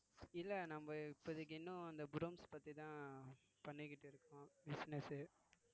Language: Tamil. இல்லை நம்ம இப்போதைக்கு இன்னும் அந்த brooms பத்திதான் பண்ணிக்கிட்டு இருக்கோம் business உ